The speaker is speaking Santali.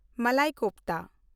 ᱢᱟᱞᱟᱭ ᱠᱳᱯᱷᱛᱟ